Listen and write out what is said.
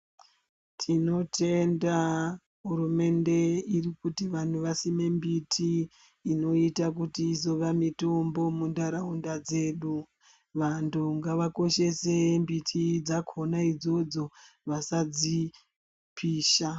Tinoyenda hurumende irikuti vanhu vasime mbiti inoita kuti izova mitombo muntaraunda dzedu vantu ngavakoshese mbiti dzakona idzodzo vasadzipisha.